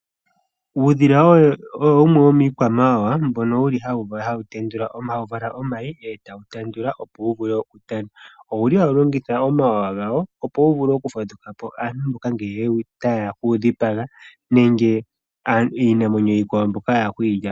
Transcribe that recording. Uudhila owo wumwe womiikwamawawa mbyono hawu vala omayi eta wu tendula opo wu vule okutana owu li hawu longitha omawawa gawo opo wu vule okufadhukapo aantu mboka ngele taye ya okuudhipaga nenge iinamwenyo iikwawo mbyoka ya hala okwiilyapo.